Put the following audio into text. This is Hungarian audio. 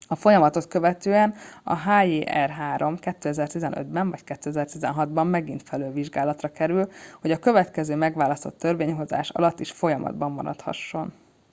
a folyamatot követően a hjr-3 2015 ben vagy 2016 ban megint felülvizsgálásra kerül hogy a következő megválasztott törvényhozás alatt is folyamatban maradhasson